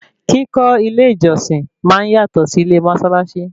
Kíkọ́ ilé ìjọsìn máa ń yátọ̀ sí ilé mósálásí